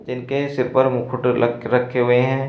जिनके सिर पर मुकुट रख रखे हुए हैं।